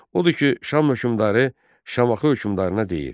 Odur ki, Şam hökmdarı Şamaxı hökmdarına deyir: